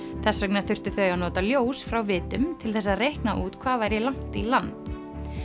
þess vegna þurftu þau að nota ljós frá vitum til þess að reikna út hvað væri langt í land